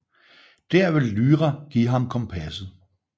Der vil Lyra give ham kompasset